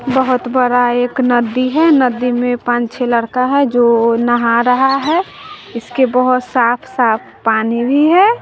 बहोत बरा एक नदी है नदी में पांच छे लड़का है जो नहा रहा है इसके बहोत साफ साफ पानी भी है।